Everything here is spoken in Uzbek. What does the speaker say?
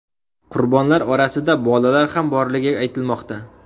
Qurbonlar orasida bolalar ham borligi aytilmoqda.